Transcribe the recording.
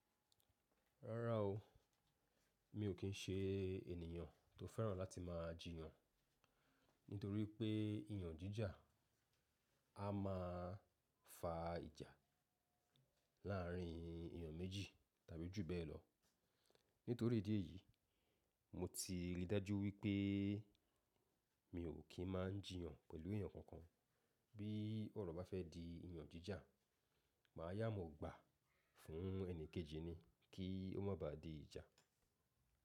Rárá o, mi ò kí ń ṣe ènìyàn tó fẹ́ràn láti máa jiyàn, nítorí pé ìyàn jíjà a máa fa ìjà láàrin èniyàn méjì tàbí jù bẹ́ẹ̀ lọ. Nítorí ìdí èyí, mo ti rí dájú wípé mi ò kín má jiyàn pẹ̀lú èyàn kankan. Bí ọ̀rọ̀ bá fẹ́ di ìyàn jíjà, màá yà mọ́ gbà fún ẹni kejì ni kí ó má ba à di ìjà.